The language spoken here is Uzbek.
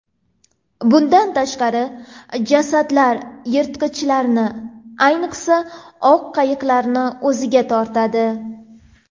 Bundan tashqari, jasadlar yirtqichlarni, ayniqsa, oq ayiqlarni o‘ziga tortadi.